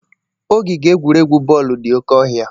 Ogige egwuregwu bọọlụ dị oke ọhịa.